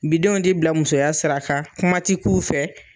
Bidenw ti bila musoya sira kan kuma ti k'u fɛ